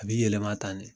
A bi yɛlɛma tan ne